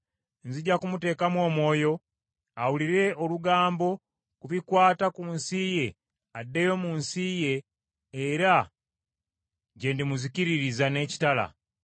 Wuliriza! Nzija kumuteekamu omwoyo, awulire olugambo ku bikwata ku nsi ye addeyo mu nsi ye, era gye ndimuzikiririza n’ekitala.’ ”